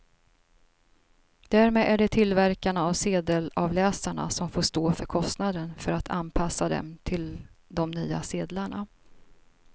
Därmed är det tillverkarna av sedelavläsarna som får stå för kostnaden för att anpassa dem till de nya sedlarna.